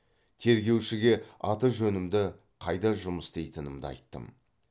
тергеушіге аты жөнімді қайда жұмыс істейтінімді айттым